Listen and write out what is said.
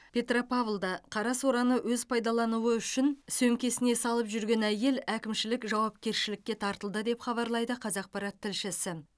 петропавлда қарасораны өз пайдалануы үшін сөмкесіне салып жүрген әйел әкімшілік жауапкершілікке тартылды деп хабарлайды қазақпарат тілшісі